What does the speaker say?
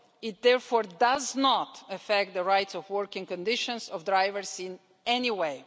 It therefore does not affect the rights and working conditions of drivers in any way.